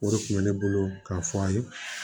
O de kun bɛ ne bolo k'a fɔ a ye